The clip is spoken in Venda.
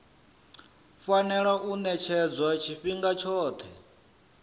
fanela u ṅetshedzwa tshifhinga tshoṱhe